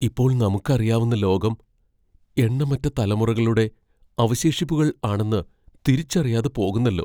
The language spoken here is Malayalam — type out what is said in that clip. ഇപ്പോൾ നമുക്കറിയാവുന്ന ലോകം എണ്ണമറ്റ തലമുറകളുടെ അവശേഷിപ്പുകൾ ആണെന്ന് തിരിച്ചറിയാതെ പോകുന്നല്ലോ!